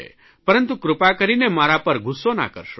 પરંતુ કૃપા કરીને મારા પર ગુસ્સો ના કરશો